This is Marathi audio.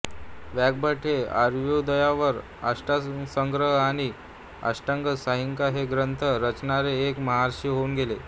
वाग्भट हे आयुर्वेदावर अष्टांगसंग्रह आणि अष्टांग संहिता हे ग्रंथ रचणारे एक महर्षी होऊन गेले